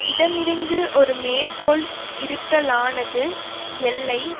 இடம் இருந்து ஒரு மேற்கோள் இருத்தலானது எல்லை